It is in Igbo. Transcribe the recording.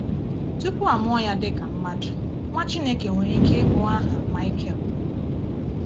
Tupu a mụọ Ya dị ka mmadụ, Nwa Chineke nwere ike ịbụ aha Maịkel.